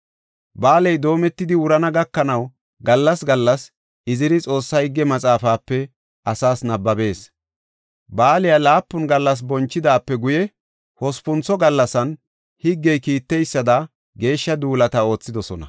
Ba7aaley doometidi wurana gakanaw gallas gallas Iziri Xoossaa Higge Maxaafape asaas nabbabees. Baaliya laapun gallas bonchidaape guye hospuntho gallasan higgey kiiteysada geeshsha duulatta oothidosona.